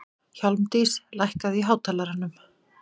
Hjálmdís, lækkaðu í hátalaranum.